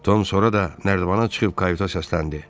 Ton sonra da nərdivana çıxıb kavita səsləndi.